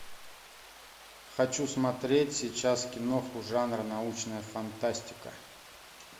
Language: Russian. хочу смотреть сейчас киноху жанр научная фантастика